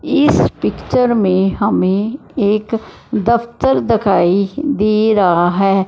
इस पिक्चर में हमें एक दफ्तर दिखाई दे रहा है।